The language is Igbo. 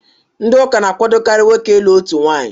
Ndị Ụka na-àkwádókarị nwoke ịlụ otu nwanyị